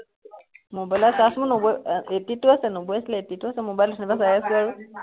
mobile ত charge মোৰ নব্বৈ আহ eighty two টো আছে, নব্বৈ আছিলে eighty two আছে mobile ত cinema চাই আছো আৰু